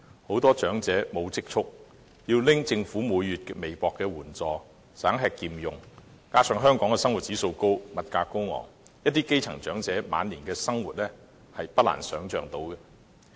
很多長者沒有積蓄，即使每月領取政府微薄的援助，仍要省吃儉用，加上香港生活指數高，物價高昂，一些基層長者晚年生活的困難，是不難想象的。